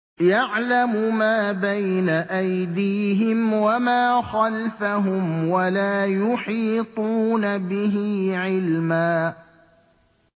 يَعْلَمُ مَا بَيْنَ أَيْدِيهِمْ وَمَا خَلْفَهُمْ وَلَا يُحِيطُونَ بِهِ عِلْمًا